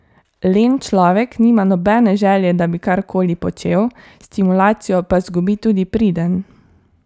Len človek nima nobene želje, da bi karkoli počel, stimulacijo pa zgubi tudi priden.